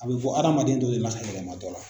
A bɛ bɔ hadamaden dɔ de la ka yɛlɛma dɔ la.